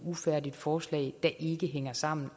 ufærdigt forslag der ikke hænger sammen